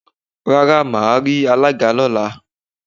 Rárá máa rí alága lóla.